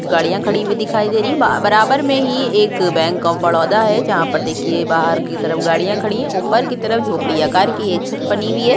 कुछ गाडिया खड़ी हुई दिखाई दे रही है ब-अ बराबर में ही एक बैंक ऑफ़ बरोदा है जहा पर देखिये बाहर की तरफ गाड़ियां खड़ी है ऊपर की तरफ झोपड़ियाकार की एक छत्त बनी हुई है।